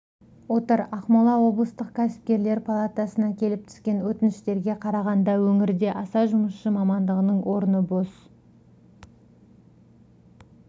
отыр ақмола облыстық кәсіпкерлер палатасына келіп түскен өтініштерге қарағанда өңірде аса жұмысшы мамандығының орны бос